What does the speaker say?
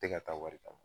Tɛ ka taa wari kama